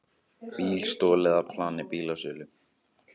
Bíl stolið af plani bílasölu